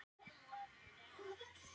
Ég hef spýtt á þig.